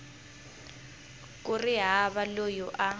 ku ri hava loyi a